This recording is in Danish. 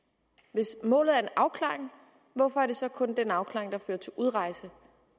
hvis målet er en afklaring hvorfor er det så kun den afklaring der fører til udrejse